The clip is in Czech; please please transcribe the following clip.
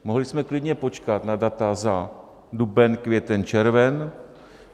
Mohli jsme klidně počkat na data za duben, květen, červen.